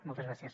moltes gràcies